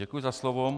Děkuji za slovo.